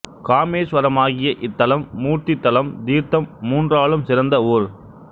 காமேஸ்வரமாகிய இத்தலம் மூர்த்தி தலம் தீர்த்தம் மூன்றாலும் சிறந்த ஊர்